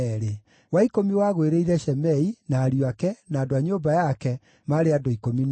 wa ikũmi wagũĩrĩire Shemei, na ariũ ake, na andũ a nyũmba yao, maarĩ andũ 12;